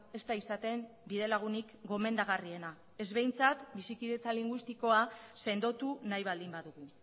ez da izaten bide lagunik gomendagarriena ez behintzat bizikidetza linguistikoa sendotu nahi baldin badugu